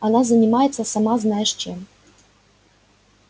она занимается сама знаешь чем